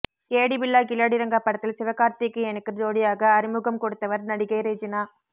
கேடி பில்லா கில்லாடி ரங்கா படத்தில் சிவகார்த்திகேயனுக்கு ஜோடியாக அறிமுகம் கொடுத்தவர் நடிகை ரெஜினா